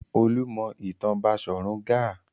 Olú mọ ìtàn Baṣọ̀run Gáà.